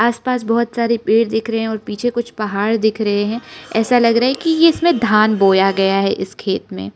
आस पास बहुत सारे पेड़ दिख रहे हैं और पीछे कुछ पहाड़ दिख रहे हैं ऐसा लग रहा है कि इसमें धान बोया गया है इस खेत में।